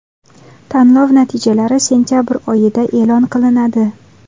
Tanlov natijalari sentabr oyida e’lon qilinadi.